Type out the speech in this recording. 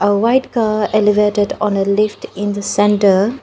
a white car elevated on a lift in the center.